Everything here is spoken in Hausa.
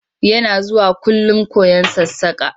Yana zuwakullum koyon sassaƙa.